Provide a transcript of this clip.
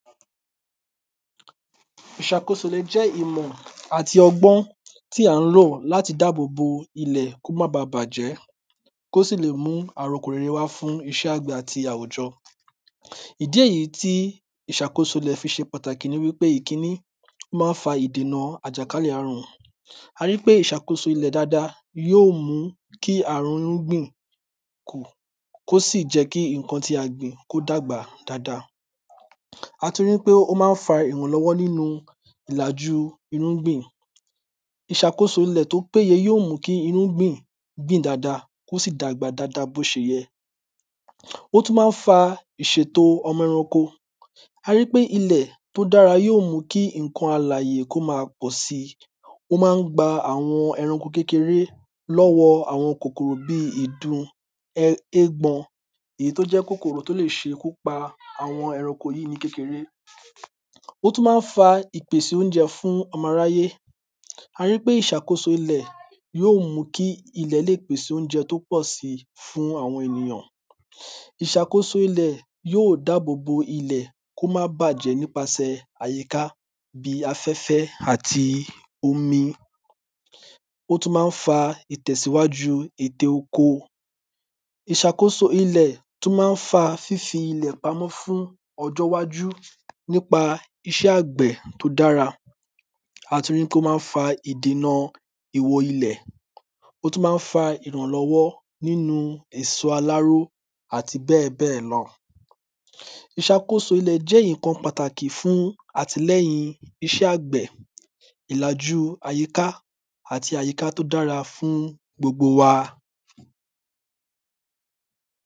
ìṣàkóso le jẹ́ ìmọ̀ àti ọgbọ́n tí à n lò láti dábọ̀bọ̀ ilè kó má ba bàjẹ́ kó sì le mú àrokò rere wá fún iṣẹ́ àgbẹ̀ àti àwùjọ? ìdí èyí tí ìṣàkóso ilè fi ṣe pàtàkì ni ipé ìkíní ó má n fa ìdèna àjàkálẹ̀ arùn ari ípé ìṣàkóso ilè dáadáa yó mú kí ààrùn irúgbìn kù kó sì jẹ́ kí nnkan tí a gbìn kó dàgbà dáadáa? a tún rí pé ó má n fa ìrànlọ́wọ́ nínu ìlàju irúgbìn ìṣàkósò ilè tó péye yó mú kí irúgbìn gbìn dada kó sì dàgbà dada bó ṣe yẹ? ó tún má n fa ìṣèto ọmọ ẹranko arípé ilè tó dára yó mú kí nnkan alàyè kó ma pọ̀ si ó má n gba àwọn ẹranko kékeré lọ́wọ àwọn kòkòrò bí ìdun ẹ égbọn èyí tó jẹ́ kòkòrò tó lè ṣe ikú pa àwọn ẹranko yí ní kékeré?? ó tún má n fa ìpèsè oúnjẹ fún ọmọ aráyé? arípé ìṣàkóso ilè yó mù kí ilè lé pèsè oúnjẹ tó pọ̀ sí fún àwọn ènìyàn ìṣàkóso ilè yó dábòbo ilè kó má bàjẹ́ nípasè àyíká bí afẹ́fẹ́ àti omi ó tún má n fa ìtẹ̀síwájú ète oko ìṣàkóso ilè tún má n fa fífi ilè pamọ́ fún ọjọ́ iwájú nípa iṣẹ́ àgbẹ̀ tó dára a ti ri pé ó má n fa ìdèna ìwo ilè ó tún má n fa ìrànlọ́wọ́ nínu èso aláró àti bẹ́ẹ̀bẹ́ẹ̀ lọ ìṣàkóso ilè jẹ́ nnkan pàtàkì fún àtìlẹyìn iṣẹ́ àgbẹ̀ ìlàjú àyíká àti àyíká tó dára fún gbogbo wa